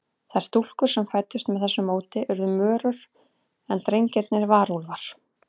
Þær stúlkur sem fæddust með þessu móti urðu mörur, en drengirnir varúlfar.